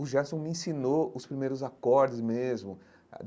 O Gerson me ensinou os primeiros acordes mesmo.